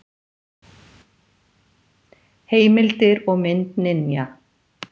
Heimildir og mynd Ninja.